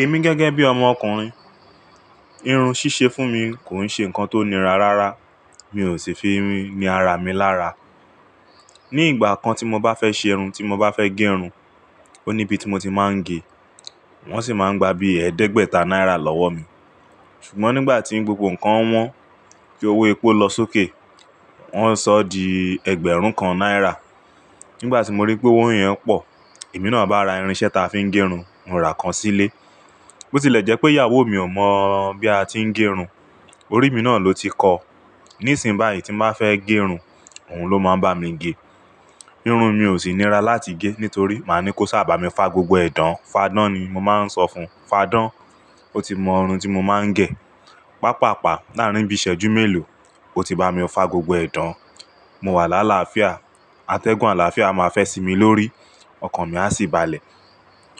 Èmi gẹ́gẹ́ bí ọmọkùnrin, irun ṣíṣe fún mi kò ń ṣe nǹkan tó nira rárá. Mi ò sì fi irun ni ara mi lára. Ni ìgbà kan tí mo bá fẹ́ ṣe irun, tí mo bá fẹ́ gẹ irun, ó níbi tí mo ti máa ń gẹ. Wọ́n sì máa ń gba bí ẹẹ́dẹ́gbẹ̀ta náírà lọ́wọ́ mi. Ṣùgbọ́n nígbà tí gbogbo nǹkan wọ́n tí owó epo lọ sókè, wọ́n sọ di ẹgbẹ̀rún kan náírà. Nígbà tí mo ríi pé owó yẹn pọ̀, èmi náà bá ra irinṣẹ́ ta fi ń gẹ irun, mo ra kan sílé. Botilẹ̀jẹ́ pé ìyàwó mi ò mọ̀ bí a ti ń gẹ irun, orí mi náà ló ti kọ. Nísìnbáyìí tí mo bá fẹ́ gẹ irun, òun ló máa ń bá mi gẹ. Irun mi ò sì nira láti gẹ nítorí màá ní kó ṣà bà mí fá gbogbo ẹ̀ dàán. Fáádán ni mo máa ń sọ fún. Fáádán! Ó ti mọ irun tí mo máa ń gẹ. Pápàpá láàárín bí ìṣẹ́jú mélòó, ó ti bá mi fá gbogbo ẹ̀ dàán. Mo wà lálàfíà, atẹ́gùn àlàáfíà a máa fẹ́ sinmi lórí, ọkàn mi a sì balẹ̀.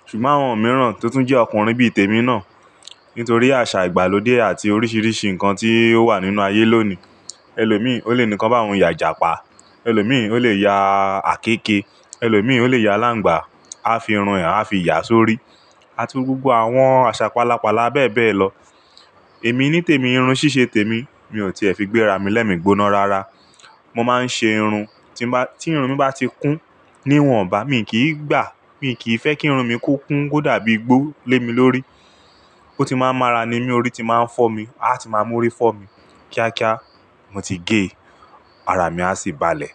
Ṣùgbọ́n àwọn mìíràn tó tún jẹ́ ọkùnrin bí i tèmi náà, nítorí àṣà ìgbàlódé àti oríṣiríṣi nǹkan tí ó wà nínú ayé lónìí, ẹlòmíì ó lè ní ká bá òun yà"jàpá, ẹlòmíì ó lè ya àkéeke, ẹlòmíì ó lè ya aláǹgbá, a fi irun è a fi ìyà sórí. Ati gbogbo àwọn àṣà palápala bẹ́ẹ̀ bẹ́ẹ̀ lọ. Èmi nítèmi, irun ṣíṣe tèmi. Mi ò tìẹ́ fi gbéra mi lẹ́mi gbóná rárá. Mo máa ń ṣe irun. Tí bá, tí irun mi bá ti kún, níwọ̀n bá mi kì í gbà, mi kì í fẹ́ kí irun mi ko kún kó dàbí igbó lé mi lórí. Ó ti máa ń mára ni mí, orí ti máa ń fọ́ mi, a ti máa mú orí fọ́ mi kíákíá, mo ti gé, ara mi a sì balẹ̀.